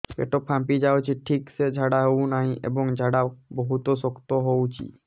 ପେଟ ଫାମ୍ପି ଯାଉଛି ଠିକ ସେ ଝାଡା ହେଉନାହିଁ ଏବଂ ଝାଡା ବହୁତ ଶକ୍ତ ହେଉଛି